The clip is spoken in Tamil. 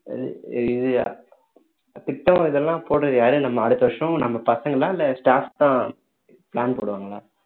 இது திட்டம் இதெல்லாம் போடுறது யாரு நம்ம அடுத்த வருஷம் நம்ம பசங்களா இல்ல staff தான் plan போடுவாங்களா